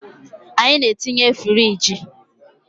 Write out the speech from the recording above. Anyị na-etinye firigi